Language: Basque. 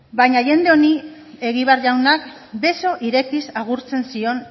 baina jende honi egibar jaunak beso irekiz agurtzen zion